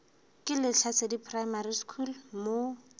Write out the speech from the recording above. ke lehlasedi primary school mo